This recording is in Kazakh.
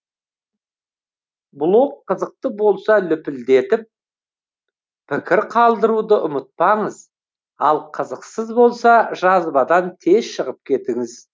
блог қызықты болса лүпілдетіп пікір қалдыруды ұмытпаңыз ал қызықсыз болса жазбадан тез шығып кетіңіз